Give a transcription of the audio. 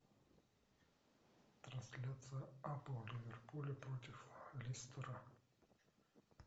трансляция апл ливерпуля против лестера